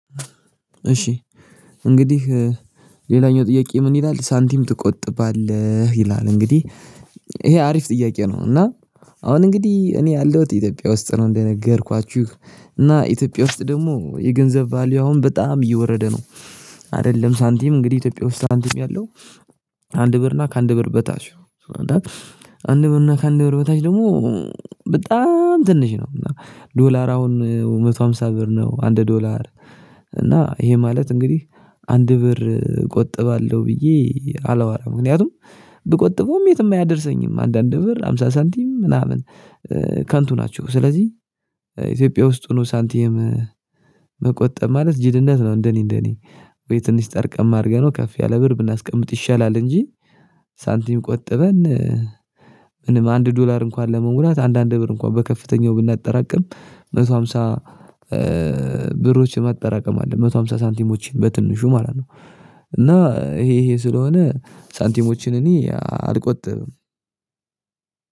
እሺ እንግዲህ ሌላኛው ጥያቄ ምን ይላል? ሳንቲም ትቆጥባለህ ይላል እንግዲህ ይሄ አሪፍ ጥያቄ ነው። እና አሁን እንግዲህ እኔ ያለሁት ኢትዮጵያ ውስጥ ነው እንደነገርኳችሁ እና ኢትዮጵያ ውስጥ ደግሞ የገንዘብ ቫልዩ አሁን በጣም እየወረደ ነው። አይደለም ሳንቲም እንግዲህ ኢትዮጵያ ውስጥ ሳንቲም ያለው። አንድ ብር እና ከአንድ ብር በታች። አንድ ብር እና ከአንድ ብር በታች ደግሞ። ትንሽ ነው እና ዶላር አሁን አንድ መቶ አምሳ ብር ነው አንድ ዶላር። እና ይሄ ማለት እንግዲህ አንድ ብር ቆጥባለሁ ብዬ አላወራም። ምክንያቱም ብቆጥበውም የትም አያደርሰኝም አንዳንድ ብር ሃምሳ ሳንቲም ምናምን ከንቱ ናቸው። ስለዚህ ኢትዮጵያ ውስጥ ሆኖ ሳንቲም ሳንቲየም መቆጠብ ማለት ጅልነት ነው። እንደኔ እንደኔ ወይ ትንሽ ጠርቀም አድርገነው ከፍ ያለ ብር ብናስቀምጥ ይሻላል። እንጂ ሳንቲም ቆጠበን። ምንም አንድ ዶላር እንኳን ለመንጉላት አንዳንድ ብር እንኳን በከፍተኛው ብናጠራቅም አንድ መቶ አምሳ። ብሮችን ማጠራቀም አለ አንድ መቶ አምሳ ሳንቲሞችን በትንሹ ማለት ነው። እና ይሄ ይሄ ስለሆነ ሳንቲሞችን እኔ አልቆጥብም።